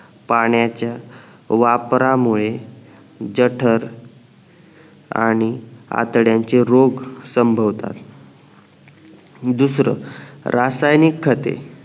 पाण्याच्या वापरामुळे जठर आणि आतड्यांचे रोग संभवतात दुसरं रासायनिक खते